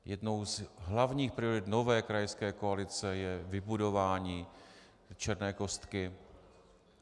Jednou z hlavních priorit nové krajské koalice je vybudování Černé kostky.